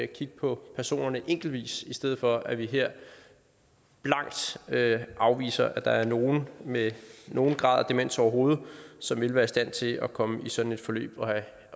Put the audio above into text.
kigge på personerne enkeltvis i stedet for at vi her blankt afviser at der ikke er nogen med nogen grad af demens overhovedet som vil være i stand til at komme i sådan et forløb